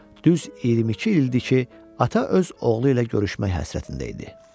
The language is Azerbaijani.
Düz 22 ildir ki, ata öz oğlu ilə görüşmək həsrətində idi.